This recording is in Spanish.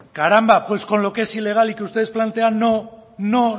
caramba pues con lo que es ilegal y que ustedes plantean no no